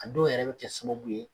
An dɔw yɛrɛ bi kɛ sababu ye